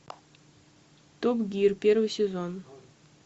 топ гир первый сезон